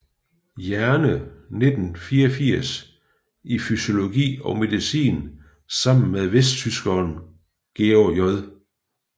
Jerne 1984 i fysiologi og medicin sammen med vesttyskeren George J